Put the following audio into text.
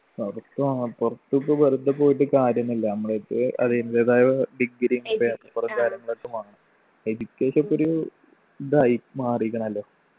പുറത്ത് അഹ് പുറത്ത് ഇപ്പൊ വെറുതെ പോയിട്ട് കാര്യൊന്നും ഇല്ല നമ്മള്ക്ക് അതിൻ്റെതായ degree യും paper ഉം കാര്യങ്ങളൊക്കെ വേണം education ഇപ്പൊ ഒരു ഇതായി മാറീക്ക്ണല്ലൊ